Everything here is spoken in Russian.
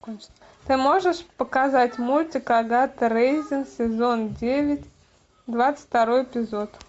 ты можешь показать мультик агата рейзин сезон девять двадцать второй эпизод